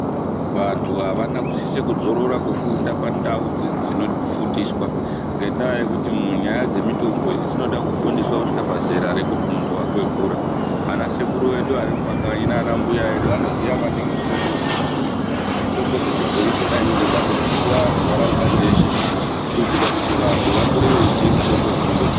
Vantu havana kusise kudzorora kufunda pandawo dzinofundiswa ngendaa yekuti nyaya dzemitombo idzi dzinoda kufundiswa kusvika pazera rekuti munhu akwegura, ana sekuru vedu varimumakanyi nana mbuya vedu vanoziya maningi mitombo dzechibhoyi. Mitombo dzechibhoyi dzona idzodzo ngadzifundiswe anhu muntaraunda dzeshe kuitira kuti vantu vakure veyiziva mitombo dzinodetsera.